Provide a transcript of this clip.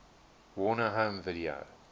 warner home video